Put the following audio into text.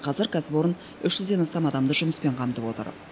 қазір кәсіпорын үш жүзден астам адамды жұмыспен қамтып отыр